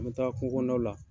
An mi taa kungo kɔnɔnaw la